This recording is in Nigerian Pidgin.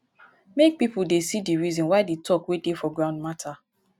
make pipo see di reason why the talk wey dey for ground matter